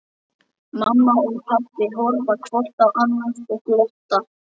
Mamma og pabbi horfa hvort á annað og glotta.